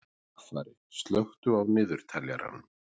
Dagfari, slökktu á niðurteljaranum.